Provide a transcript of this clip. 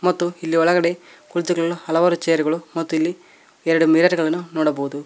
ಮತ್ತು ಇಲ್ಲಿ ಒಳಗಡೆ ಕುಳಿತುಕೊಳ್ಳಲು ಹಲವಾರು ಚೇರುಗಳು ಮತ್ತು ಇಲ್ಲಿ ಎರಡು ಮಿರರ್ಗಳನ್ನು ನೋಡಬಹುದು.